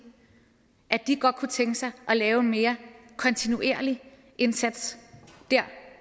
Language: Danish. at de godt kunne tænke sig at lave en mere kontinuerlig indsats der